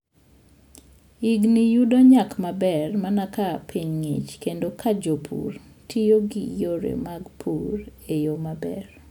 Yiengini yudo nyak maber mana ka piny ng'ich, kendo ka jopur tiyo gi yore mag pur e yo maber.